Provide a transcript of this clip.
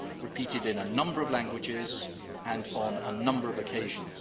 repeated in a number of languages and on a number of occasions.